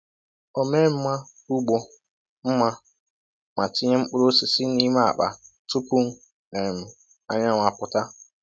O mee mma ugbo mma ma tinye mkpụrụ osisi n’ime akpa tupu um anyanwụ apụta.